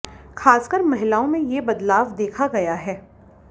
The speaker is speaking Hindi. खासकर महिलाओं में ये बदलाव देखा गया है